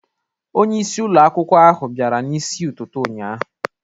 Onye isi ụlọ akwụkwọ ahụ bịara n'isi ụtụtụ ụnyahụ